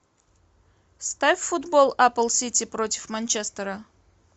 ставь футбол апл сити против манчестера